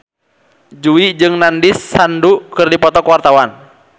Jui jeung Nandish Sandhu keur dipoto ku wartawan